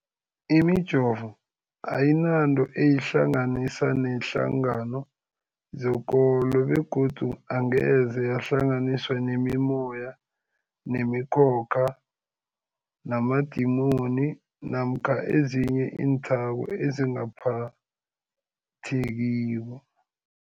Imijovo ayinanto eyihlanganisa neenhlangano zekolo begodu angeze yahlanganiswa nemimoya, nemi khokha, namadimoni namkha ezinye iinthako ezingaphathekiko.